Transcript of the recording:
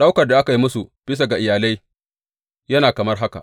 Ɗaukar da aka yi musu bisa ga iyalai yana kamar haka.